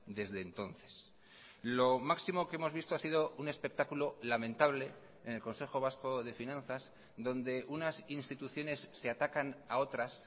desde entonces lo máximo que hemos visto ha sido un espectáculo lamentable en el consejo vasco de finanzas donde unas instituciones se atacan a otras